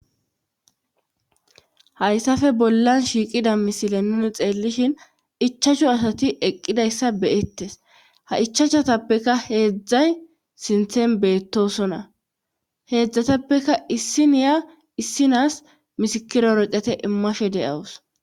hayssafe bollan shiiqida misile nuni xeellishin ichacshu asati eqqidayssa beyettes ha ichachatappeka heedzdzay sinthen beettosona heedzdzatappekka issiniya issinas misikiro roqete immashe de7awus